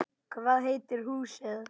Hvað heitir húsið?